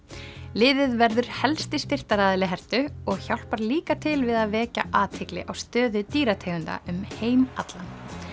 liðið verður helsti styrktaraðili og hjálpar líka til við að vekja athygli á stöðu dýrategunda um heim allan